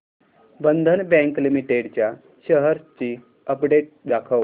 बंधन bank limited च्या shares ची update दाखव